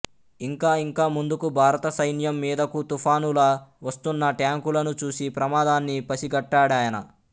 ఇంకా ఇంకా ముందుకు భారత సైన్యం మిదకు తుఫానులా వస్తున్న ట్యాంకులను చూసి ప్రమాదాన్ని పసిగట్టాడాయన